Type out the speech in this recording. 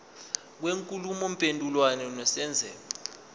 kwenkulumo mpendulwano nesenzeko